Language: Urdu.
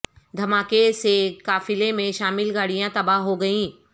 دھماکے سے قافلے میں شامل گاڑیاں تباہ ہو گئیں